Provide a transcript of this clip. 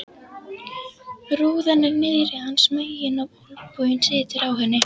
Rúðan er niðri hans megin og olnboginn situr á henni.